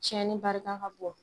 Tiɲɛnii barika ka bon.